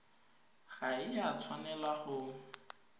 ga e a tshwanela go